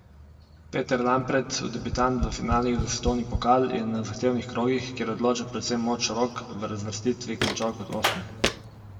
Peter Lampret, debitant v finalih za svetovni pokal, je na zahtevnih krogih, kjer odloča predvsem moč rok, v razvrstitvi končal kot osmi.